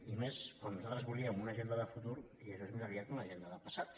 i més quan nosaltres volíem una agenda de futur i això és més aviat una agenda de passat